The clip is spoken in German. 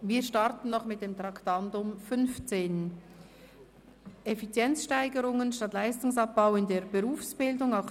Wir kommen zur Motion «Effizienzsteigerungen statt Leistungsabbau in der Berufsbildung».